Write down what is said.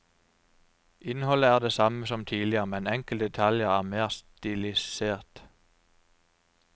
Innholdet er det samme som tidligere, men enkelte detaljer er mer stilisert.